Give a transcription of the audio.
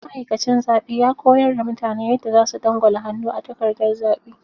Ma'aikacin zaɓe ya koyar da mutane yadda za su dangwala hannu a takardar zaɓe.